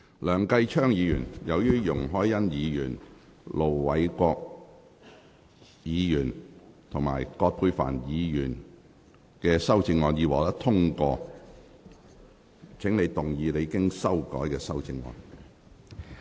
梁繼昌議員，由於容海恩議員、盧偉國議員及葛珮帆議員的修正案已獲得通過，請動議你經修改的修正案。